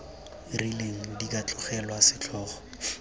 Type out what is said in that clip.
rileng di ka tlogelwa setlhogo